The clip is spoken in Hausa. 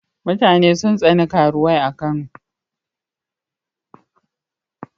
Mutane sun tsani karuwai a Kano.